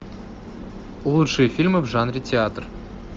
лучшие фильмы в жанре театр